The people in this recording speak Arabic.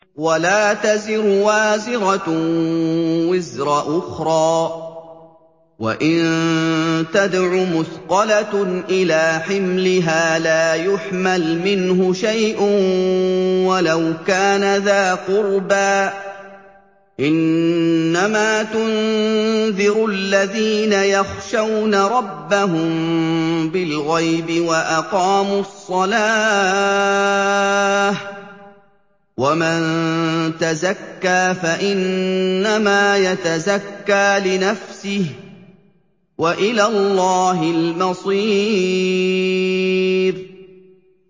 وَلَا تَزِرُ وَازِرَةٌ وِزْرَ أُخْرَىٰ ۚ وَإِن تَدْعُ مُثْقَلَةٌ إِلَىٰ حِمْلِهَا لَا يُحْمَلْ مِنْهُ شَيْءٌ وَلَوْ كَانَ ذَا قُرْبَىٰ ۗ إِنَّمَا تُنذِرُ الَّذِينَ يَخْشَوْنَ رَبَّهُم بِالْغَيْبِ وَأَقَامُوا الصَّلَاةَ ۚ وَمَن تَزَكَّىٰ فَإِنَّمَا يَتَزَكَّىٰ لِنَفْسِهِ ۚ وَإِلَى اللَّهِ الْمَصِيرُ